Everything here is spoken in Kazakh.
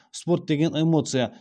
спорт деген эмоция